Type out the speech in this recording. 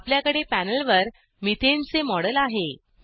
आपल्याकडे पॅनेलवर methaneमिथेन चे मॉडेल आहे